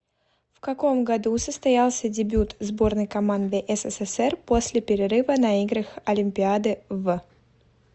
в каком году состоялся дебют сборной команды ссср после перерыва на играх олимпиады в